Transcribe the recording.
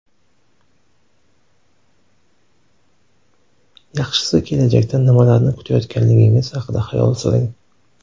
Yaxshisi kelajakdan nimalarni kutayotganligingiz haqida xayol suring.